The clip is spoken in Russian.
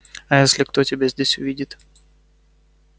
а если кто тебя здесь увидит